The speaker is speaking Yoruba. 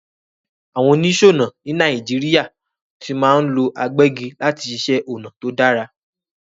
Àwon onísònà ni Naijiria ti ma n lo agbẹ́gi láti siṣẹ̀ onà to dára